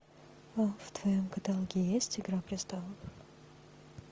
в твоем каталоге есть игра престолов